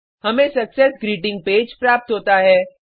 हमें success greeting page प्राप्त होता है